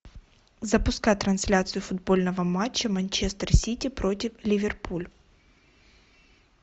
запускай трансляцию футбольного матча манчестер сити против ливерпуль